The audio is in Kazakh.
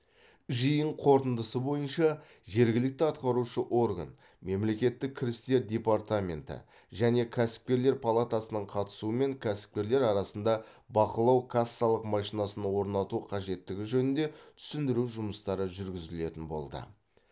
жиын қорытындысы бойынша жергілікті атқарушы орган мемлекеттік кірістер департаменті және кәсіпкерлер палатасының қатысуымен кәсіпкерлер арасында бақылау кассалық машинасын орнату қажеттігі жөнінде түсіндіру жұмыстары жүргізілетін болды